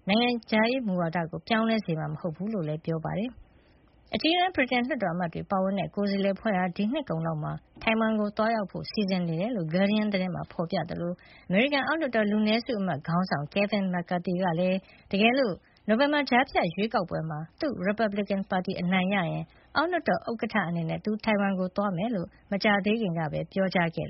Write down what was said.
နိုင်ငံခြားရေးမူဝါဒကို ပြောင်းလဲစေမှာ မဟုတ်ကြောင်းလည်း ပြောကြားခဲ့ပါတယ်။ အကြီးတန်း ဗြိတိန်လွှတ်တော်အမတ်တွေပါဝင်တဲ့ ကိုယ်စားလှယ်အဖွဲ့ဟာ ဒီနှစ်ကုန်လောက်မှာ ထိုင်ဝမ်ကို သွားရောက်ဖို့ စီစဉ်နေတယ်လို့ Guardian သတင်းမှာ ဖေါ်ပြထားသလို အမေရိကန် အောက်လွှတ်တော် လူနည်းစုအမတ်ခေါင်းဆောင် Kevin McCarthy ကလည်း တကယ်လို့ နိုဝင်ဘာကြားဖြတ်ရွေးကောက်ပွဲမှာ သူ့ရီပတ်ဘလစ်ကင်ပါတီ အနိုင်ရရင် အောက်လွှတ်တော် ဥက္ကဋ္ဌအနေနဲ့ သူ ထိုင်ဝမ်ကို သွားမှာဖြစ်ကြောင်း မကြာသေးခင်ကပဲ ပြောကြားခဲ့